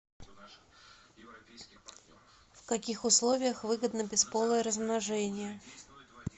в каких условиях выгодно бесполое размножение